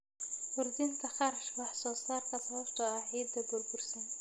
Kordhinta kharashka wax soo saarka sababtoo ah ciidda burbursan.